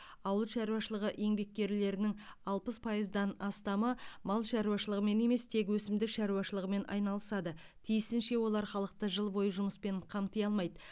ауыл шаруашылығы еңбеккерлерінің алпыс пайыздан астамы мал шаруашылығымен емес тек өсімдік шаруашылығымен айналысады тиісінше олар халықты жыл бойы жұмыспен қамти алмайды